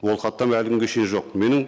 ол хаттама әлі күнге шейін жоқ менің